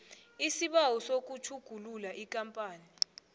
isibawo sokutjhugulula ikampani